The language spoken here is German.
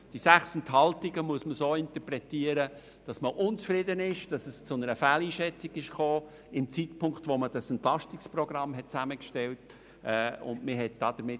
Die 6 Enthaltungen müssen so interpretiert werden, dass man unzufrieden ist, dass es zum Zeitpunkt, als das Entlastungsprogramm zusammengestellt wurde, zu einer Fehleinschätzung kam.